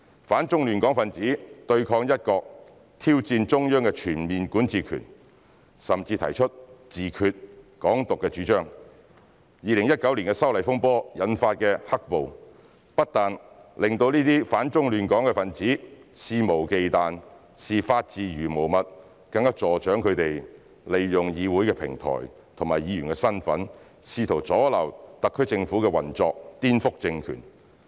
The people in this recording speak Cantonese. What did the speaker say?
反中亂港分子對抗"一國"、挑戰中央的全面管治權，甚至提出"自決"、"港獨"主張 ，2019 年修例風波引發的"黑暴"，不但令這些反中亂港分子肆無忌憚，視法治如無物，更助長他們利用議會平台和議員身份試圖阻撓特區政府的運作，顛覆政權。